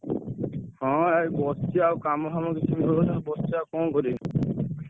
ହଁ ଏଇ ବସଚି ଆଉ କାମ ଫାମ କିଛି ମିଳୁନି ବସଚି ଆଉ କଣ କରିବି?